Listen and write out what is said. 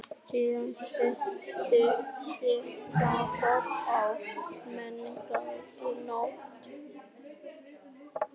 Síðast hitti ég Jakob á menningarnótt.